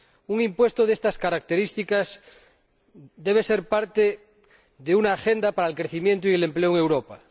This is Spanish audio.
Un impuesto de estas características debe ser parte de una agenda para el crecimiento y el empleo en Europa.